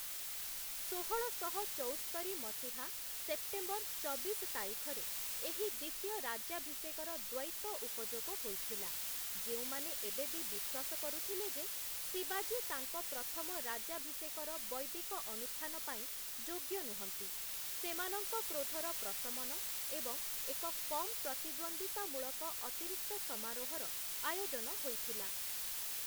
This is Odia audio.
ଷୋହଳଶହ ଚଉସ୍ତରି ମସିହା ସେପ୍ଟେମ୍ବର୍‌ ଚବିଶ ତାରିଖରେ ଏହି ଦ୍ୱିତୀୟ ରାଜ୍ୟାଭିଷେକର ଦ୍ୱୈତ ଉପଯୋଗ ହୋଇଥିଲା, ଯେଉଁମାନେ ଏବେବି ବିଶ୍ୱାସ କରୁଥିଲେ ଯେ ଶିବାଜୀ ତାଙ୍କ ପ୍ରଥମ ରାଜ୍ୟାଭିଷେକର ବୈଦିକ ଅନୁଷ୍ଠାନ ପାଇଁ ଯୋଗ୍ୟ ନୁହଁନ୍ତି, ସେମାନଙ୍କ କ୍ରୋଧର ପ୍ରଶମନ ଏବଂ ଏକ କମ୍ ପ୍ରତିଦ୍ୱନ୍ଦ୍ୱିତାମୂଳକ ଅତିରିକ୍ତ ସମାରୋହର ଆୟୋଜନ ହୋଇଥିଲା ।